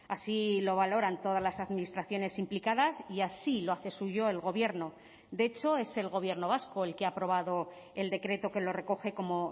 así lo valoran todas las administraciones implicadas y así lo hace suyo el gobierno de hecho es el gobierno vasco el que ha aprobado el decreto que lo recoge como